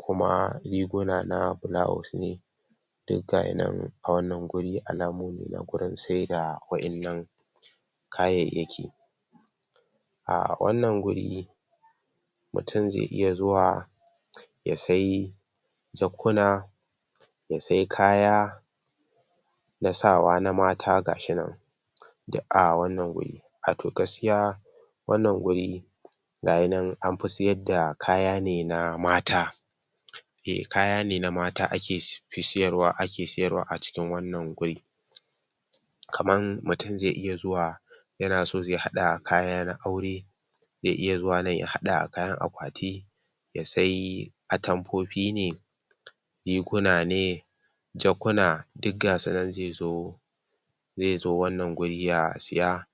kuma riguna na blouse ne duk ga yi nan a wannan guri alamomi na gurin sai da waƴannan kayayyaki. A wannan guri mutum zai iya zuwa ya sayi jakkuna ya sayi kaya na sawa na mata ga shi nan duk a wannan guri. Wato gaskiya wannan guri ga yi nan an fi siyar da kaya ne na mata e, kaya ne na mata ake fi siyarwa ake siyarwa, a cikin wannan guri. Kamar mutum zai iya zuwa yana so zai haɗa kaya na aure zai iya zuwa nan ya haɗa kayan akwati ya sayi atamfofi ne riguna ne jakkuna duk ga su nan zai zo zai zo wannan guri ya siya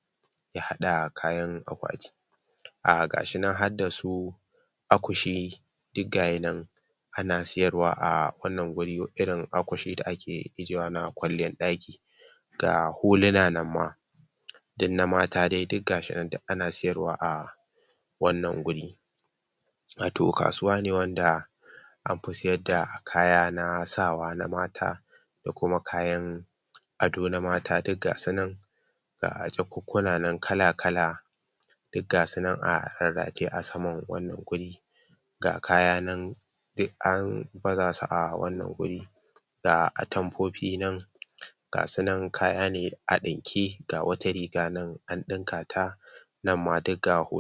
ya haɗa kayan akwati. Um Ga shi nan har da su akushi duk ga yi nan ana siyarwa a wannan wuri, irin akushi da ake ijjiyewa na kwalliyar ɗaki. Ga huluna nan ma duk na mata dai duk ga shi nan, duk ana siyarwa a wannan guri. Wato kasuwa ne wanda an fi siyar da kaya na sawa na mata da kuma kayan ado na mata duk ga su nan ga jakukkuna nan kala kala duk ga su nan a rarrataye a saman wannan guri. Ga kaya nan duk an baza su a wannan guri. Ga atamfofi nan ga su nan kaya na ne a ɗinke, ga wata riga nan an ɗinka ta nan ma duk ga hul